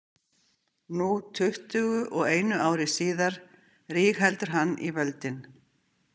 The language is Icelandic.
Nú, tuttugu og einu ári síðar, rígheldur hann í völdin.